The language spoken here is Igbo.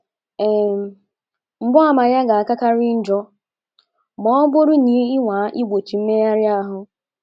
um Mgbaàmà ya ga - akakarị njọ ma ọ bụrụ na ị nwaa igbochi mmegharị ahụ.